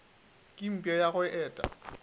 ke mpša ya go eta